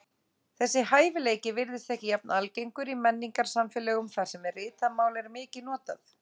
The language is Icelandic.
Þessi hæfileiki virðist ekki jafn algengur í menningarsamfélögum þar sem ritað mál er mikið notað.